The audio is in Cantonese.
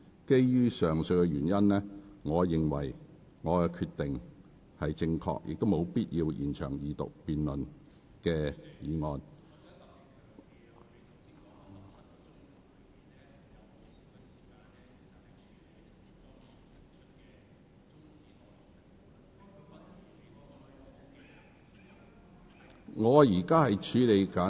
基於上述原因，我認為我的決定恰當，而且沒有必要延長二讀議案的辯論。